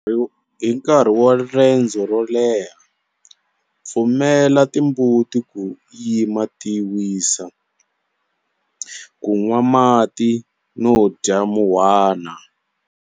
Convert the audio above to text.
Hi nkarhi wa rendzo ro leha, pfumela timbuti ku yima ti wisa, ku nwa mati no dya muhwana.